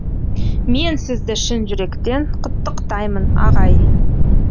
мен сізді шын жүректен құттықтаймын ағай